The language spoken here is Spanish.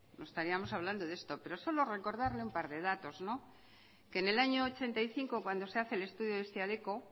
no estaríamos hablando de esto pero solo recordarle un par de datos en el año ochenta y cinco cuando se hace el estudio de siadeco